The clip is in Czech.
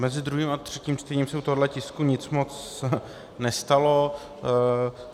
Mezi druhým a třetím čtením se u tohoto tisku nic moc nestalo.